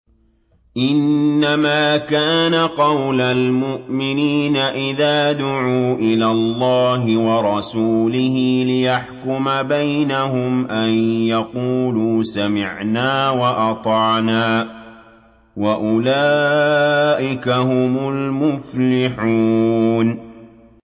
إِنَّمَا كَانَ قَوْلَ الْمُؤْمِنِينَ إِذَا دُعُوا إِلَى اللَّهِ وَرَسُولِهِ لِيَحْكُمَ بَيْنَهُمْ أَن يَقُولُوا سَمِعْنَا وَأَطَعْنَا ۚ وَأُولَٰئِكَ هُمُ الْمُفْلِحُونَ